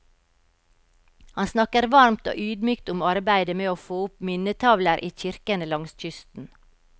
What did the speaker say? Han snakker varmt og ydmykt om arbeidet med å få opp minnetavler i kirkene langs kysten.